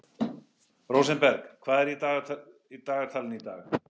Rósenberg, hvað er í dagatalinu í dag?